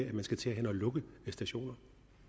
at der skal til at lukkes stationer